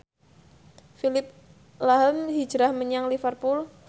Phillip lahm hijrah menyang Liverpool